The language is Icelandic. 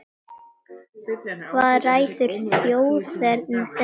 Hvað ræður þjóðerni þeirra?